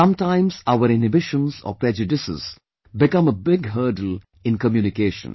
Sometimes our inhibitions or prejudices become a big hurdle in communication